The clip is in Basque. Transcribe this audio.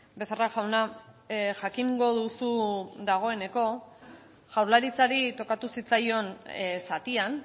becerra jauna jakingo duzu dagoeneko jaurlaritzari tokatu zitzaion zatian